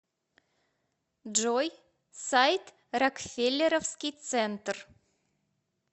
джой сайт рокфеллеровский центр